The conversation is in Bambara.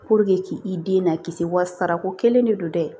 k'i den na kisi wa sara ko kelen de don dɛ